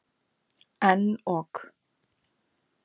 En ók.